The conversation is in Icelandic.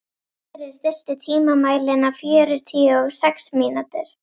Sören, stilltu tímamælinn á fjörutíu og sex mínútur.